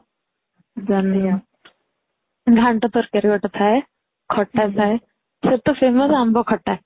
ଘାଣ୍ଟ ତରକାରୀ ଗୋଟେ ଥାଏ ଖଟା ଥାଏ ସେଠି ତ famous ଆମ୍ବ ଖଟା